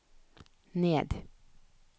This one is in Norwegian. ned